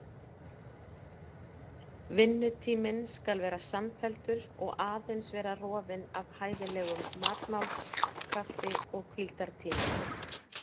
Vinnutíminn skal vera samfelldur og aðeins vera rofinn af hæfilegum matmáls-, kaffi- og hvíldartímum.